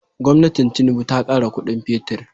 Gwamnatin tinuba ta kara Ƙudin fetir